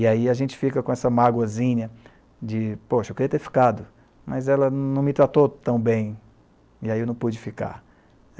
E aí a gente fica com essa mágoazinha de, poxa, eu queria ter ficado, mas ela não me tratou tão bem, e aí eu não pude ficar.